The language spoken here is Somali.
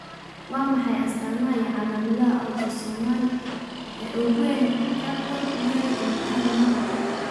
Waa maxay astaamaha iyo calaamadaha Autosomal ee ugu weyn Charcot Marie Ilkaha nooca F?